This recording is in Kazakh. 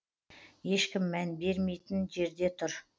ешкім мән беремейтін жерде тұр